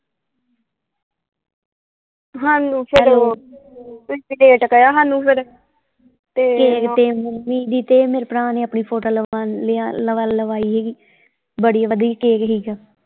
ਹਾਨੂੰ ਫੇਰ ਓਹ ਤੁਸੀਂ ਹਾਨੂੰ ਫੇਰ ਕੇਕ ਤੇ ਮੰਮੀ ਦੀ ਤੇ ਮੇਰੇ ਭਰਾ ਨੇ ਆਪਣੀ ਫੋਟੋ ਲਵਾਈ ਸੀਗੀ ਬੜਾ ਵਧੀਆ ਕੇਕ ਸੀਗਾ।